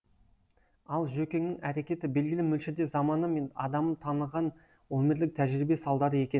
ал жөкеңнің әрекеті белгілі мөлшерде заманы мен адамын таныған өмірлік тәжірибе салдары екен